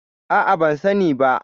A'a, ban sani ba.